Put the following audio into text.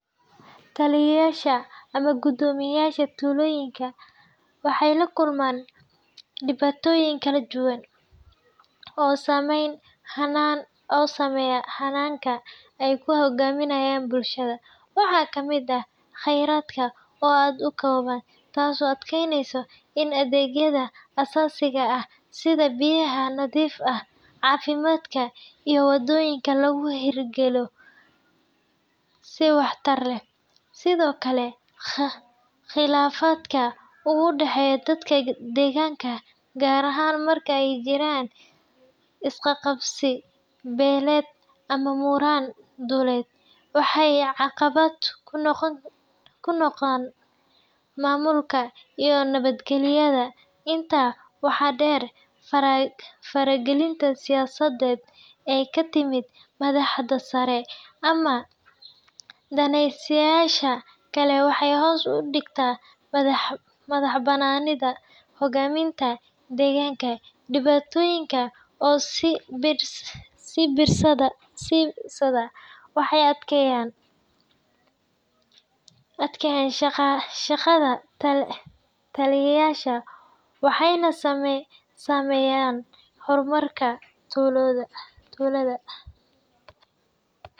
Taliyeyaasha ama guddoomiyaasha tuulooyinka waxay la kulmaan dhibaatooyin kala duwan oo saameeya hannaanka ay ku hoggaamiyaan bulshadooda. Waxaa ka mid ah khayraadka oo aad u kooban, taasoo adkaysa in adeegyada aasaasiga ah sida biyaha nadiifta ah, caafimaadka, iyo wadooyinka lagu hirgeliyo si waxtar leh. Sidoo kale, khilaafaadka u dhexeeya dadka deegaanka, gaar ahaan marka ay jiraan is qabqabsi beeleed ama muran dhuleed, waxay caqabad ku noqdaan maamulka iyo nabadgelyada. Intaa waxaa dheer, faragelinta siyaasadeed ee ka timaadda madaxda sare ama daneeyayaasha kale waxay hoos u dhigtaa madaxbannaanida hoggaaminta deegaanka. Dhibaatooyinkan oo is biirsaday waxay adkeeyaan shaqada taliyeyaasha, waxayna saameeyaan horumarka tuulada